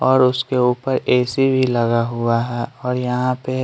और उसके ऊपर ए_सी भी लगा हुआ है और यहां पे --